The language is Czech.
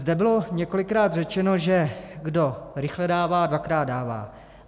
Zde bylo několikrát řečeno, že kdo rychle dává, dvakrát dává.